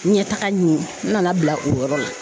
Ɲɛtaga ɲi n nana bila o yɔrɔ la.